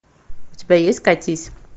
у тебя есть катись